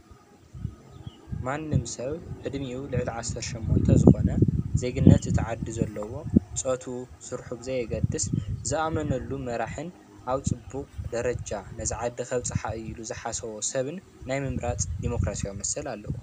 ማንም ሰብ ዕድሚኡ ልዕሊ 18 ዝኮነ ዘግነት እቲ ዓዲ ዘለዎ ፆትኡን ስርሑን ብዘየግድሰ ዝኣመነሉ መራሒን ኣብፅቡቅ ደረጃ ነዚ ዓዲ ከብፅሓ እያ ኢሉ ዝሓሰቦ ሰብ ናይ ምምራፅ ዲሞክራሲያዊ መሰል ኣለዎ፡፡